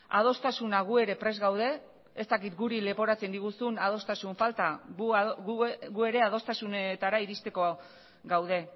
adostasuna gu ere prest gaude ez dakit guri leporatzen diguzun adostasun falta gu ere adostasunetara iristeko gaude